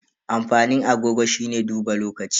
Amfanin agogo shine duba lokaci.